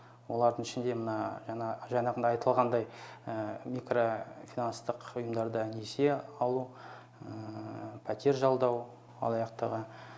олардың ішінде мына жаңағыны айтылғандай микрофинанстық ұйымдарда несие алу пәтер жалдау алаяқтығы